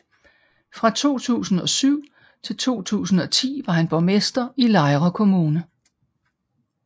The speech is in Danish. Fra 2007 til 2010 var han borgmester i Lejre Kommune